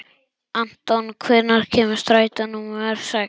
Anton, hvenær kemur strætó númer sex?